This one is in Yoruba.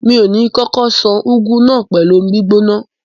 Mi ò ní kókó ṣan úgú náà pẹ̀lú omi gbígbóná.